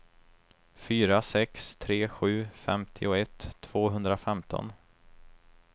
fyra sex tre sju femtioett tvåhundrafemton